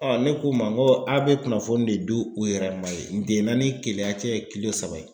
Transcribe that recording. ne k'u ma n ko a bɛ kunnafoni de di u yɛrɛ ma yen, N'tɛna ni Keleya cɛ ye kilo saba ye.